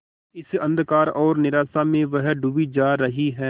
इस अंधकार और निराशा में वह डूबी जा रही है